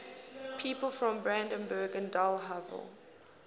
people from brandenburg an der havel